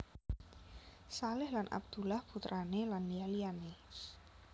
Shalih Lan Abdullah putrane lan liya liyane